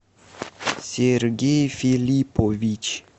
сергей филиппович